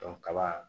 kaba